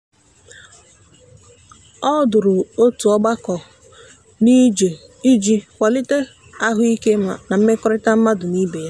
o duru otu ọgbakọ n'ije iji kwalite ahụike na mmekọrịta mmadụ na ibe ya.